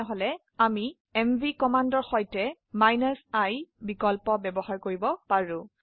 তাহলে এমভি কমান্ডৰ সাথে i বিকল্প ব্যবহাৰ কৰিব পাৰো